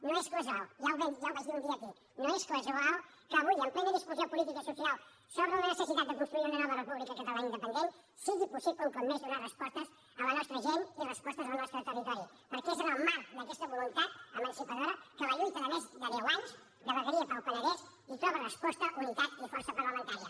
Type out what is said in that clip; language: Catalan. no és casual ja ho vaig dir un dia aquí no és casual que avui en plena discussió política i social sobre la necessitat de construir una nova república catalana independent sigui possible un cop més donar respostes a la nostra gent i respostes al nostre territori perquè és en el marc d’aquesta voluntat emancipadora que la lluita de més de deu anys de vegueria per al penedès hi troba resposta unitat i força parlamentària